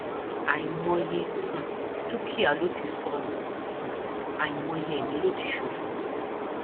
àìmọye um dúkìá ló ti sọnù um àìmọye ẹmí ló ti ṣòfò